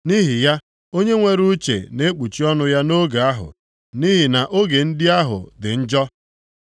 Nʼihi ya, onye nwere uche na-ekpuchi ọnụ ya nʼoge ahụ, nʼihi na oge ndị ahụ dị njọ.